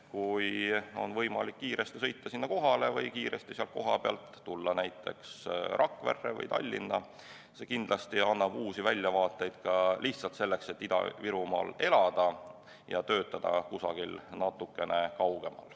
Kui on võimalik kiiresti sinna kohale sõita või kiiresti sealt näiteks Rakverre või Tallinna tulla, siis annab see kindlasti uusi väljavaateid selleks, et elada Ida-Virumaal, aga töötada kusagil natukene kaugemal.